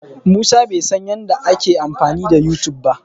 Musa bai san yadda ake amfani da Yutub ba.